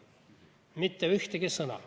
Mitte ühtegi sõna.